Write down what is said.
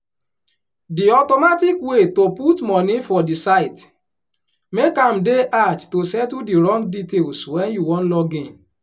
di automatic way to put money for di site make am dey hard to settle di wrong details wen you wan login